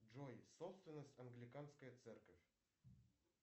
джой собственность англиканская церковь